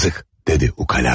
Yazıq, dedi ukalaca.